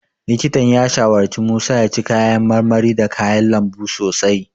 Likitan ya shawarci Musa ya ci kayan marmari da kayan lambu sosai.